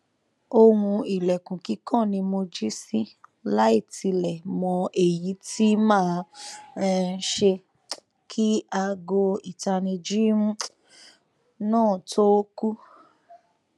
ohun ilẹkun kikan ni mo ji si laitilẹ mọ eyi ti maa um ṣe ki aago itanniji um naa to ku